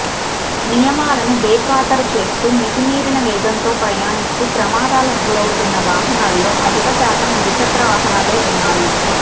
నియమాలను బేఖాతరు చేస్తూ మితిమీరిన వేగంతో ప్రయాణిస్తూ ప్రమాదాలకు గురవుతున్న వాహనాల్లో అధిక శాతం ద్విచక్రవాహనాలే ఉన్నాయి